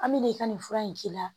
An bɛ nin ka nin fura in k'i la